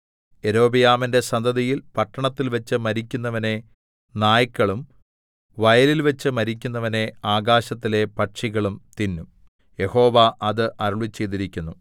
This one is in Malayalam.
യൊരോബെയാമിന്റെ സന്തതിയിൽ പട്ടണത്തിൽവെച്ച് മരിക്കുന്നവനെ നായ്ക്കളും വയലിൽവെച്ച് മരിക്കുന്നവനെ ആകാശത്തിലെ പക്ഷികളും തിന്നും യഹോവ അത് അരുളിച്ചെയ്തിരിക്കുന്നു